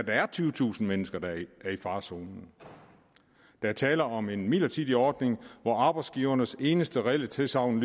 er tyvetusind mennesker der er i farezonen der er tale om en midlertidig ordning hvor arbejdsgivernes eneste reelle tilsagn